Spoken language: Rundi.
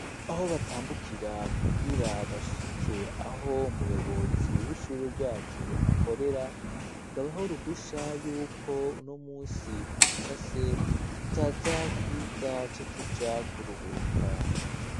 Aho batambukira kugira bashike aho umuyobozi w'ishure ryacu akorera ngo abahe uruhusha yuko uno munsi ku musase tutaza kwiga duca tuja kuruhuka.